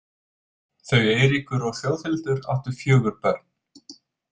Þau Eiríkur og Þjóðhildur áttu fjögur börn.